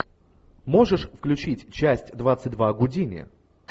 можешь включить часть двадцать два гудини